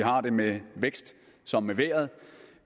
har det med vækst som med vejret